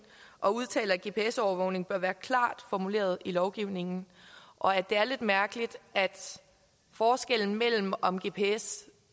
og udtaler at gps overvågning bør være klart formuleret i lovgivningen og at det er lidt mærkeligt at forskellen mellem om gps